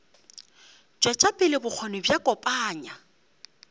tšwetša pele bokgoni bja kopanya